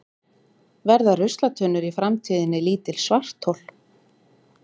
verða ruslatunnur í framtíðinni lítil svarthol